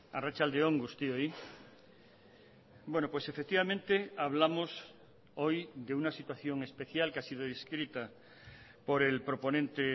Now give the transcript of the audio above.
arratsalde on guztioi bueno pues efectivamente hablamos hoy de una situación especial que ha sido inscrita por el proponente